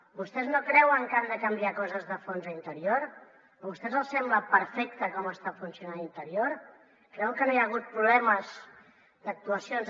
vostès no creuen que han de canviar coses de fons a interior a vostès els sembla perfecte com està funcionant interior creuen que no hi ha hagut problemes d’actuacions